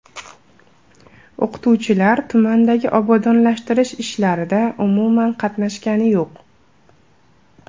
O‘qituvchilar tumandagi obodonlashtirish ishlarida umuman qatnashgani yo‘q.